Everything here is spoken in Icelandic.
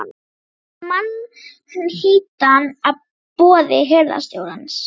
Ég hef séð mann hýddan að boði hirðstjórans.